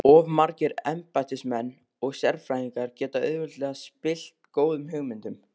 Of margir embættismenn og sérfræðingar geta auðveldlega spillt góðum hugmyndum.